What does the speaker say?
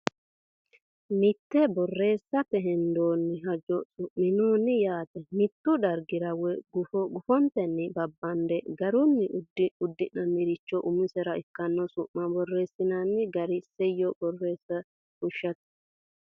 Mitte borreessate hendoonni hajo Su minoonni yaa mittu dargira woy gufo gufontenni babbande garunni udiinnichira umisira ikkanno su ma borreessinanni gara isayyo borreessa fushshate.